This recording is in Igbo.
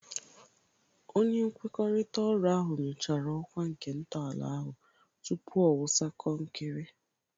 Onye nkwekọrịta oru ahụ nyochara ọkwa nke ntọala ahụ tupu ọ wụsa konkiri.